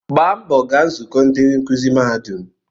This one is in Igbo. Gbaa mbọ gaa nzukọ ndị nkuzi mahadum